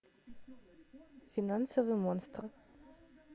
финансовый монстр